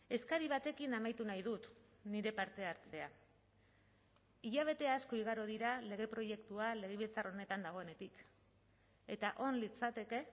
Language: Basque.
eskari batekin amaitu nahi dut nire parte hartzea hilabete asko igaro dira lege proiektua legebiltzar honetan dagoenetik eta on litzateke